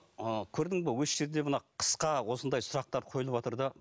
ы көрдің бе осы жерде мына қысқа осындай сұрақтар қойылыватыр да